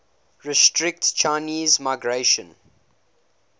restrict chinese migration